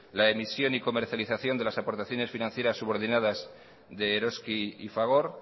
la emisión y comercialización de las aportaciones financierassubordinadas de eroski y fagor